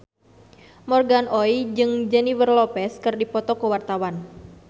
Morgan Oey jeung Jennifer Lopez keur dipoto ku wartawan